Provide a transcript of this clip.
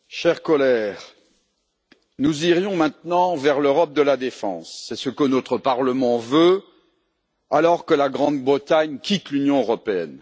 Monsieur le Président, chers collègues, nous irions maintenant vers l'Europe de la défense, c'est ce que notre Parlement veut, alors que la Grande Bretagne quitte l'Union européenne.